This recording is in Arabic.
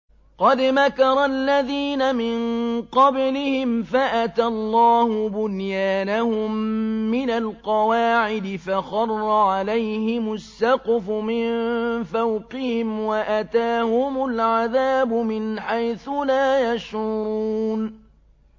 قَدْ مَكَرَ الَّذِينَ مِن قَبْلِهِمْ فَأَتَى اللَّهُ بُنْيَانَهُم مِّنَ الْقَوَاعِدِ فَخَرَّ عَلَيْهِمُ السَّقْفُ مِن فَوْقِهِمْ وَأَتَاهُمُ الْعَذَابُ مِنْ حَيْثُ لَا يَشْعُرُونَ